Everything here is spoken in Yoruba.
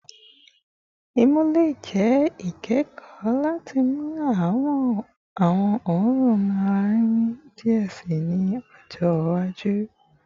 Imu le jẹ ikẹkọ lati mọ awọn oorun alarinrin diẹ sii ni ọjọ iwaju